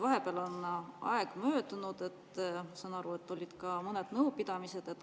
Vahepeal on aeg möödunud, saan aru, et ka mõned nõupidamised.